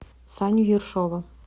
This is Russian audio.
саню ершова